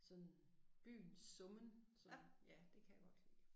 Sådan byens summen som ja det kan jeg godt lide